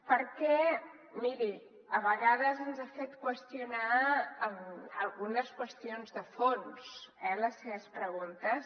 perquè miri a vegades ens han fet qüestionar algunes qüestions de fons eh les seves preguntes